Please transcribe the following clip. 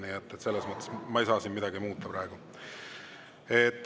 Nii et selles mõttes ma ei saa siin midagi muuta praegu.